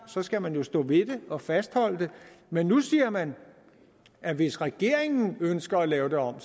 så skal man jo stå ved det og fastholde det men nu siger man at hvis regeringen ønsker at lave det om